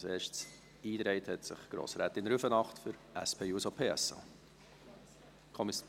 Als Erste hat sich Grossrätin Rüfenacht für die SP-JUSO-PSA-Fraktion eingetragen.